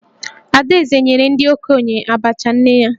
Adaeze nyere ndị okenye Abacha nne ya